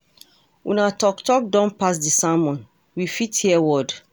Una talk talk don pass dey sermon, we fit hear word.